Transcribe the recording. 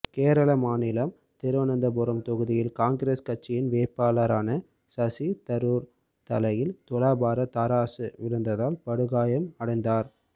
கேரள மாநிலம் திருவனந்தபுரம் தொகுதியில் காங்கிரஸ் கட்சியின் வேட்பாளரான சசிதரூர் தலையில் துலாபார தராசு விழுந்ததால் படுகாயம் அடைந்தார்